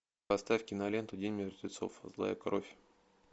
поставь киноленту день мертвецов злая кровь